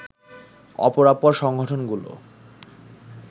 অপরাপর সংগঠনগুলো